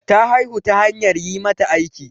Ta haihu ta hanyar yi mata aiki.